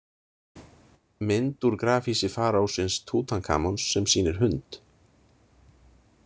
Mynd úr grafhýsi faraósins Tútankamons sem sýnir hund.